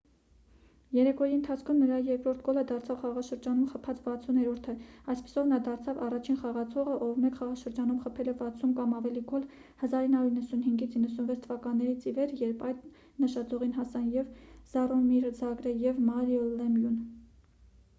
երեկոյի ընթացքում նրա երկրորդ գոլը դարձավ խաղաշրջանում խփած 60-րդը այդպիսով նա դարձավ առաջին խաղացողը ով մեկ խաղաշրջանում խփել է 60 կամ ավելի գոլ 1995-96 թվականներից ի վեր երբ այդ նշաձողին հասան և ջառոմիր ջագրը և մարիո լեմյուն